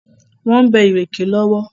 Wọ́n ń bẹ́ ìrèké lọ́wọ́.